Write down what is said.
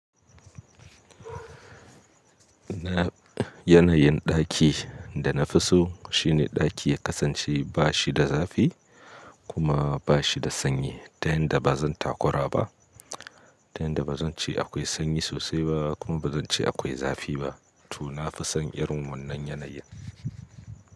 Yanayin ɗaki da na fi so shine ɗaki ya kasance ba shi da zafi kuma ba shi da sanyi. Ta yanda ba zan takura ba, ta yanda ba zan ce akwai sanyi sosai ba kuma ba zan ce akwai zafi ba. To na fi son irin wannan yanayin.